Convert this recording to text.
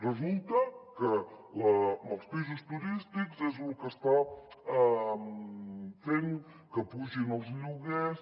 resulta que els pisos turístics és lo que està fent que pugin els lloguers